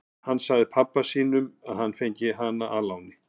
Hann sagði pabba sínum að hann hefði fengið hana að láni.